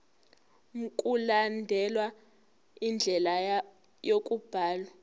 mkulandelwe indlela yokubhalwa